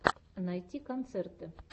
найти концерты